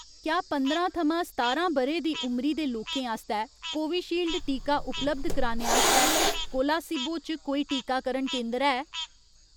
क्या पंदरां थमां सतारां ब'रे दी उमरी दे लोकें आस्तै कोविशील्ड टीका उपलब्ध कराने आस्तै कोलासिबो च कोल कोई टीकाकरण केंदर है ?